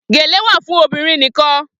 Gèlè wà fún obìnrin nikan